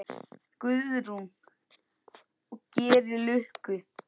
Guðrún: Og gerir lukku?